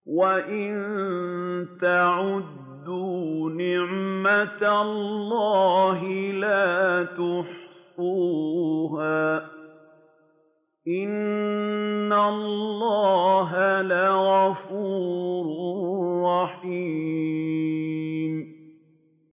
وَإِن تَعُدُّوا نِعْمَةَ اللَّهِ لَا تُحْصُوهَا ۗ إِنَّ اللَّهَ لَغَفُورٌ رَّحِيمٌ